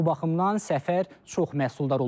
Bu baxımdan səfər çox məhsuldar olub.